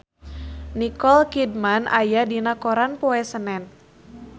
Nicole Kidman aya dina koran poe Senen